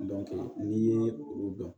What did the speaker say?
n'i ye olu dɔn